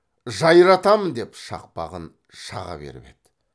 жайратамын деп шақпағын шаға беріп еді